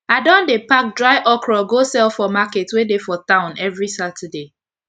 i don dey pack dry okro go sell for market wey dey for town everi saturday